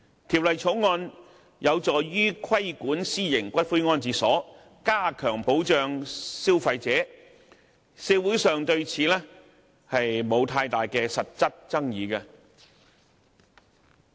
《條例草案》有助於規管私營骨灰安置所，加強保障消費者，社會上對此並沒有太大實質爭議。